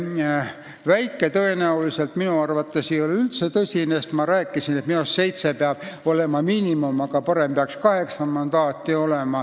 See väikeste ringkondadega variant ei ole minu arvates üldse tõsine, sest ma rääkisin, et minu meelest peab olema vähemalt seitse mandaati, aga parem oleks kaheksa mandaati.